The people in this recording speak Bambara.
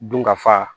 Dunkafa